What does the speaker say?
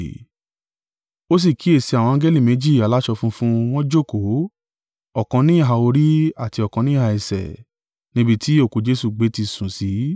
Ó sì kíyèsi àwọn angẹli méjì aláṣọ funfun, wọ́n jókòó, ọ̀kan níhà orí àti ọ̀kan níhà ẹsẹ̀, níbi tí òkú Jesu gbé ti sùn sí.